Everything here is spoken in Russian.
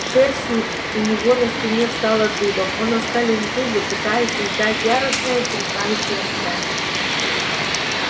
шерсть не у него на спине встала дыбом он оскалил зубы пытаясь издать яростное устрашающее рычание